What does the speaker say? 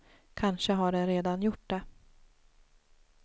Kanske har den redan gjort det.